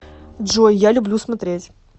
джой я люблю смотреть